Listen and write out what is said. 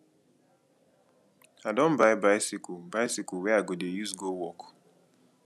i don buy bicycle bicycle wey i go dey use go work